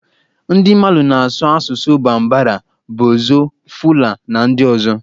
Ndị Mali na-asụ asụsụ Bambara, Bozo, Fula, na ndị ọzọ.